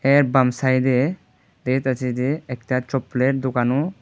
এর বাম সাইডে দেত আছে যে একতা চপ্পলের দোকানো।